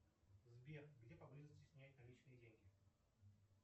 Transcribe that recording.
сбер где поблизости снять наличные деньги